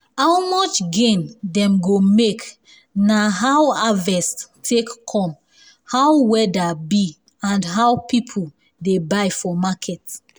how much gain dem go make na how harvest take come how weather be and how people dey buy for market